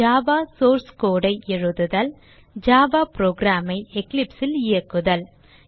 Java source code ஐ எழுதுதல் Java program ஐ Eclipse ல் இயக்குதல்